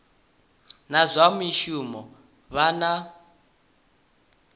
na zwa mishumo vha na